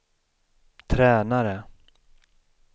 tränare